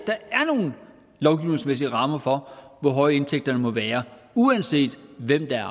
nogle lovgivningsmæssige rammer for hvor høje indtægterne må være uanset hvem der